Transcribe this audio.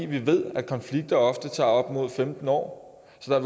vi ved at konflikter ofte tager op mod femten år så